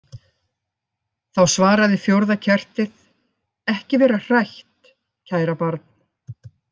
Þá svaraði fjórða kertið: Ekki vera hrætt, kæra barn.